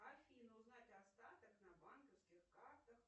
афина узнать остаток на банковских картах